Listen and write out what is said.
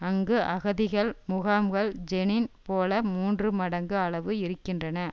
அங்கு அகதிகள் முகாம்கள் ஜெனின் போல மூன்று மடங்கு அளவு இருக்கின்றன